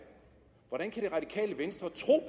hvordan kan det radikale venstre